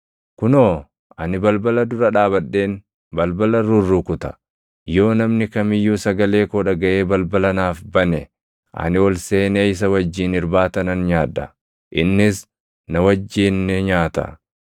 Kunoo, ani balbala dura dhaabadheen balbala rurrukuta. Yoo namni kam iyyuu sagalee koo dhagaʼee balbala naaf bane, ani ol seenee isa wajjin irbaata nan nyaadha; innis na wajjin ni nyaata.